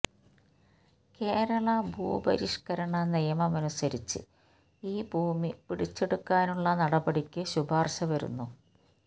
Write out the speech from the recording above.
കേരളാ ഭൂപരിഷ്കരണ നിയമമനുസരിച്ച് ഈ ഭൂമി പിടിച്ചെടുക്കാനുള്ള നടപടിക്ക് ശുപാർശ വന്നു